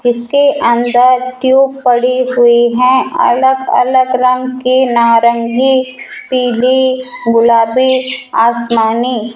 जिसके अंदर ट्यूब पड़ी हुई है अलग अलग रंग के नारंगी पीली गुलाबी आसमानी --